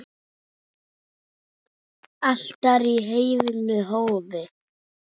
Altari í heiðnu hofi.